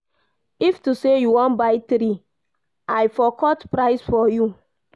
If to say you wan buy three, I for cut price for you